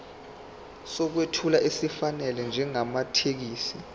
sokwethula esifanele njengamathekisthi